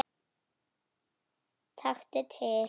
Taktu til.